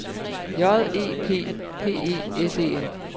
J E P P E S E N